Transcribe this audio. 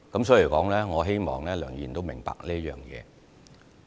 所以，我希望梁議員明白這一點。